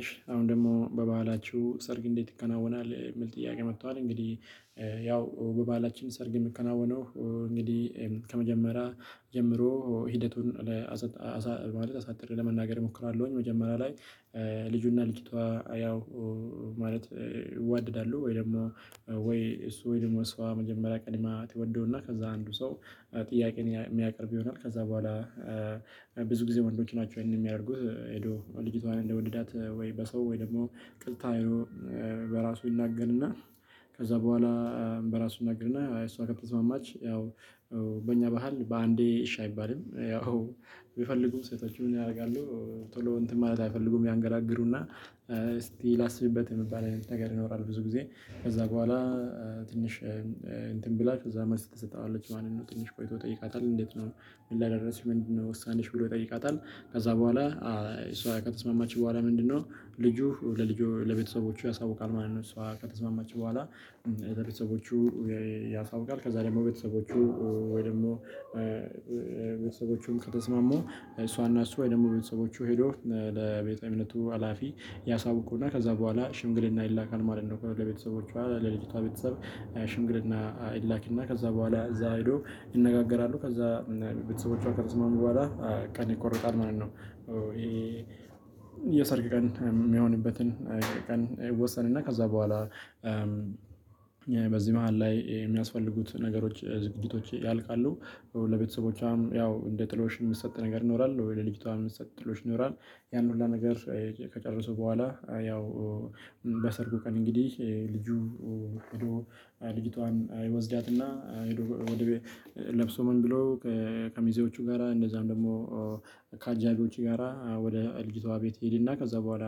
እሺ አሁን ደግሞ በባህላችሁ ሰርግ እንዴት ይከናወናል የሚል ጥያቄ መጥቷል እንግዲህ? ያው በባላችን ሰርግ የምከናወነው እንግዲህ ከመጀመሪያ ጀምሮ ሂደቱን ለአሳ ማለት አሳጥሬ ለመናገር እሞክራለሁኝ። መጀመሪያ ላይ ልጁና ልጅቷ ያው ማለት ይወድዳሉ ወይ ደግሞ ወይ እሱ ወይ ደግሞ ሰው መጀመሪያ ቀለማ ትወደውና ከዛ አንዱ ሰው። ጥያቄ የሚያቀርብ ይሆናል ከዛ በኋላ ብዙ ጊዜ ወንዶች ናቸው ይሄንን የሚያደርጉት። ሄዶ ልጅቷን እንደወደዳት ወይ በሰው ወይ ደግሞ ቅጥታ በራሱ ይናገርና ከዛ በኋላ በራሱ እናገርና እሷ ከተስማማች። ያው በእኛ ባህል በአንዴ እሽ አይባልም። ያው የምፈልጉም ሴቶችም ያደርጋሉ ቶሎ እንትን ማለት አይፈልጉም ያንገራግሩና እስቲ ላስብበት የሚባል ነገር ይኖራል። ብዙ ጊዜ ከዛ በኋላ ትንሽ እንትን ብላችሁ እዛ መልስ ትሰጣለች ማንን ነው ትንሽ ቆይቶ ይጠይቃታል? እንዴት ነው ምን ላደርስሽ ምንድነው ወሳንሽ ብሎ ይጠይቃታል። ከዛ በኋላ እሷ ቀጥስማማችሁ በኋላ ምንድነው ልጁ ለልጁ ለቤተሰቦቹ ያሳውቃል ማለት ነው እሷ ከተስማማች በኋላ። ለቤተሰቦቹ ያሳውቃል ከዛ ደግሞ ቤተሰቦቹ ወይ ደግሞ ቤተሰቦቹን ከተስማሙ እሷና እሱ የደሞመ ቤተሰቦቹ ሄዶ ለቤተሰብነቱ ሀላፊ ያሳውቁና ከዛ በኋላ ሽምግሌና ይላካል ማለት ነው። ከሁለት ቤተሰቦቹ አለ ለልጅታ ቤተሰብ ሽምግሌና አይላኪና ከዛ በኋላ እዛ ሄዶ ይነጋገራሉ። ከዛ ቤተሰቦቿ ከርስማ መባላት ቀን ይቆርቃል ማለት ነው። ይሄ የሰርግ ቀን የሚሆንበትን አይደለም ቀን ወሰንና ከዛ በኋላ በዚህ መሃል ላይ የሚያስፈልጉት ነገሮች ዝግጅቶች ያልቃሉ። ለቤተሰቦቿም ያው እንደ ጥሎሽ የምትሰጥ ነገር ይኖራል ወይ ለልጅቷ የምትሰጥ ጥሎች ይኖራል። ያን ሁሉ ነገር ከጨረሱ በኋላ ያው በሰርጉ ቀን እንግዲህ ልጁ ልጅቷን አይወዝዳትና። ለብሶ ምን ብሎ ከከሚዜዎቹ ጋራ እንደዛም ደግሞ ከአጃጌቢዎቹ ጋራ ወደ እልጅቷ ቤት ሄድና ከዛ በኋላ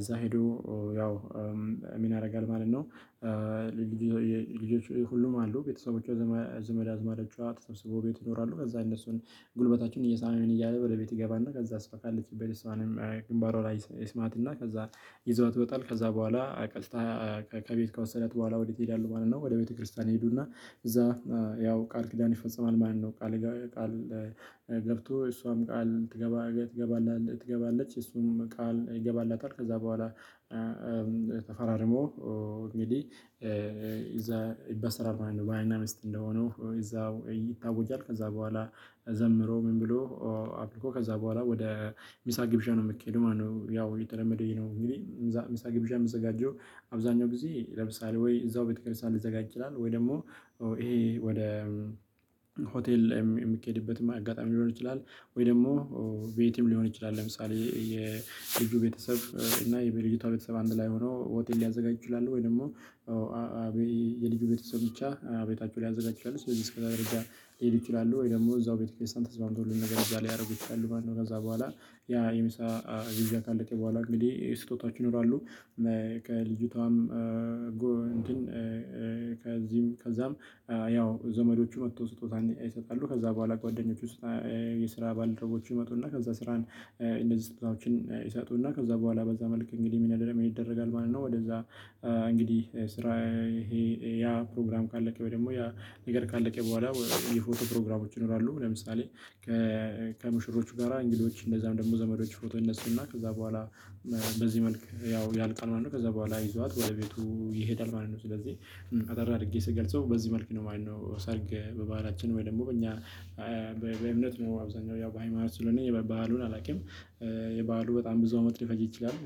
እዛ ሄዶ ያው ሚና ያደርጋል ማለት ነው። ልጆች ሁሉም አሉ ቤተሰቦቿ ዘመድ አዝማደጫ ተሰብስቦ ቤት ይኖራሉ። ከዛ እነሱን ጉልበታችን እየሰማን እያለ በለቤት ይገባና ከዛ አስፋለችበት ስማንም ግንባሯ ላይ ይስማትና። ከዛ ይዘውት ወጣል ከዛ በኋላ ቀስታ ከቤት ከወሰደት በኋላ ወዴት ይሄዳሉ ማለት ነው? ወደ ቤተክርስቲያን ይሄዱና እዛ ያው ቃል ኪዳን ይፈጸማል። ማለት ቃል ቃል ገብቶ እሷም ቃል ትገባ ትገባለች እሱንም ቃል ይገባላታል። ከዛ በኋላ ተፈራርሞ እንግዲህ እዛ ይበሰራል ማለት ነው። በሃይና ሚስት እንደሆነው እዛው ይታወጃል። ከዛ በኋላ ዘምሮ ምን ብሎ አፕልኮ ከዛ በኋላ ወደ ሚሳ ግብዣ ነው የምትኬዱ ማለት ማነው? ያው የተለመደው ነው። እንግዲህ ሚሳ ግብዣ የምትዘጋጀው አብዛኛው ጊዜ ይለብሳል ወይ እዛው ቤተክርስቲያን ልዘጋጅ ይላል ወይ ደግሞ ይሄ ወደ ሆቴል የሚኬድበት አጋጣሚ ሊሆን ይችላል። ወይ ደግሞ ቤትም ሊሆን ይችላል። ለምሳሌ የልጁ ቤተሰብ እና የልጅቷ ቤተሰብ አንድ ላይ ሆኖ ሆቴል ሊያዘጋጅ ይችላል። ወይ ደግሞ የልጁ ቤተሰብ ብቻ አቤታቸውን ያዘጋጃሉ። ስለዚህ እስከዛ ደረጃ ሊሄድ ይችላሉ። ወይ ደግሞ እዛው ቤተኬስተን ተስፋምቶልን ነገር እዛ ላይ ያደርጉት ነው። ከዛ በኋላ ያ የምሳ ጊዜን ካለቀ በኋላ እንግዲህ ስጦታችን ይኖራሉ። ከልጅቷም እንትን ከዚህም ከዛም ያው ዘመዶቹ መጥተው ስጦታ ይሰጣሉ። ከዛ በኋላ ጓደኞች ውስጥ የስራ ባልደረቦች ይመጡና ከዛ ስራን እንደዚህ ስጦታዎችን ይሰጡና ከዛ በኋላ በዛ መልክ እንግዲህ ሚና ደረግ ይደረጋል ማለት ነው። ወደዛ እንግዲህ ስራ ይሄ ያ ፕሮግራም ካለ ካለቀ ወይ ደግሞ ያ ንገር ካለቀ በኋላ የፎቶ ፕሮግራሞች ይኖራሉ። ለምሳሌ ከመሽሮቹ ጋራ እንግዶች እንደዛም ደግሞ ዘመዶች ፎቶ እነሱንና ከዛ በኋላ በዚህ መልክ ያው ያልቃል ማለት ነው። ከዛ በኋላ ይዟት ወደ ቤቱ ይሄዳል ማለት ነው። ስለዚህ አጠር አድርጌ ስገልጸው በዚህ መልኩ ነው የማየው ሰርግ በባህላችን ወይ ደግሞ በእኛ እኛ በእምነት ነው አብዛኛው ያው በሃይማኖት ስለሆነ የባህሉን አላውቅም። የባህሉ በጣም ብዙ አመት ሊፈጅ ይችላል።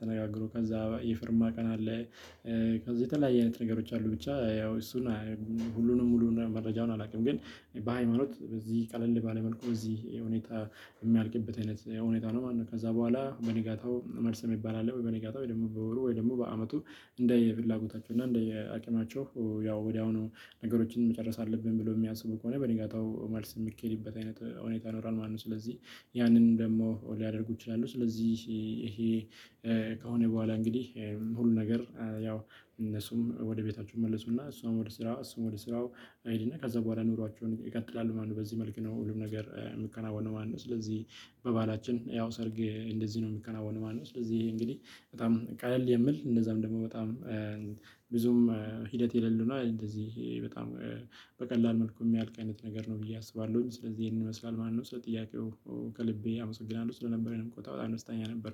ተነጋግሮ ከዛ የፈርማ ቀን አለ። ከዛ የተለያየ አይነት ነገሮች አሉ ብቻ ያው እሱን ሙሉን ሙሉን መረጃውን አላውቅም። ግን በሃይማኖት በዚህ ቀለል ባለ መልኩ በዚህ ሁኔታ የሚያልቅበት አይነት ሁኔታ ነው ማለት ነው። ከዛ በኋላ በንጋታው መልሰም ይባላል ወይ በንጋታው ወይ ደግሞ በወሩ ወይ ደግሞ በአመቱ እንደ የፍላጎታቸው እና እንደ የአቅማቸው ያው ወዲያውኑ ነገሮችን መጨረስ አለብን ብሎ የሚያስቡ ከሆነ በኒጋታው ማለት የሚኬድበት አይነት ሁኔታ ይኖራል። ማነው ስለዚህ ያንን ደግሞ ሊያደርጉ ይችላሉ። ስለዚህ ይሄ ከሆነ በኋላ እንግዲህ ሁሉ ነገር ያው እነሱም ወደ ቤታችሁ መለሱና እሷም ወደ ስራው እሷም ወደ ስራው አይዲና ከዛ በኋላ ኑሯቸውን ይቀጥላሉ። ማነው በዚህ መልክ ነው ሁሉም ነገር የምትከናወነው ማነው። ስለዚህ በባላችን ያው ሰርግ እንደዚህ ነው የሚከናወነው ማነው። ስለዚህ እንግዲህ በጣም ቀለል የምል እንደዛም ደግሞ በጣም ብዙም ሂደት የለልን እንደዚህ በጣም በቀላል መልኩ የሚያልቅ አይነት ነገር ነው። ብዬ አስባለሁኝ ስለዚህ ይሄንን ይመስላል ማነው ስለጥያቄው ከልቤ አመሰግናለሁ ስለነበረኝ ቆጣ በጣም አንድ ስተኛ ነበር